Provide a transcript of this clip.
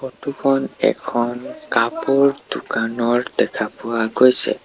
Photo খন এখন কাপোৰ দোকানৰ দেখা পোৱা গৈছে।